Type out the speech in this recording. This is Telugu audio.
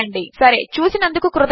సరే చూసినందుకు కృతజ్ఞతలు